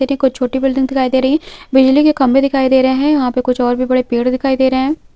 ये देखो छोटी बिल्डिंग दिखाई दे रही है बिजली के खम्बे दिखाय दे रहे हैं यहाँ पे कुछ और भी बड़े पेड़ दिखाई दे रहे हैं।